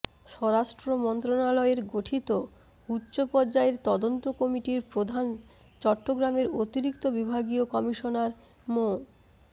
স্বরাষ্ট্র মন্ত্রণালয়ের গঠিত উচ্চপর্যায়ের তদন্ত কমিটির প্রধান চট্টগ্রামের অতিরিক্ত বিভাগীয় কমিশনার মো